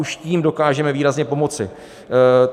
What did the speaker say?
Už tím dokážeme výrazně pomoci.